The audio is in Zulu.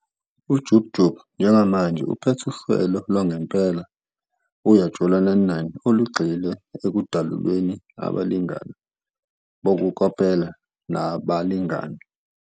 UJub Jub njengamanje uphethe uhlelo lwangempela, "Uyajola 9, 9" olugxile ekudaluleni abalingani bokukopela nabalingani.